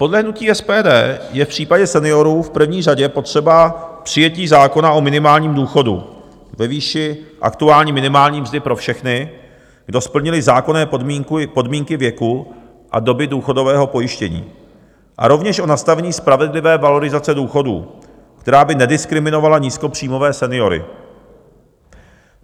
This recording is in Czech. Podle hnutí SPD je v případě seniorů v první řadě potřeba přijetí zákona o minimálním důchodu ve výši aktuální minimální mzdy pro všechny, kdo splnili zákonné podmínky věku a doby důchodového pojištění a rovněž o nastavení spravedlivé valorizace důchodů, která by nediskriminovala nízkopříjmové seniory.